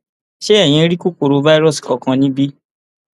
ṣé eyín rí kòkòrò fáírọọsì kankan níbí